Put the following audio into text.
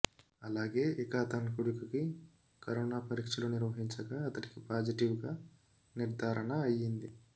అలాగే ఇక అతని కొడుకుకి కరోనా పరీక్షలు నిర్వహించగా అతడికి పాజిటివ్ గా నిర్ధారణ అయింది